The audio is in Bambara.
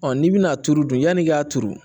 n'i bɛna a turu dun yani i k'a turu